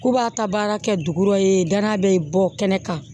K'u b'a ta baara kɛ dugu dɔ ye da bɛ bɔ kɛnɛ kan